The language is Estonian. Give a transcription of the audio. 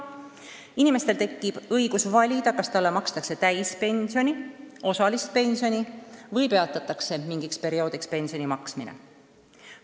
Inimesel hakkab olema õigus valida, kas talle makstakse täispensioni, osalist pensioni või mingiks perioodiks pensioni maksmine peatatakse.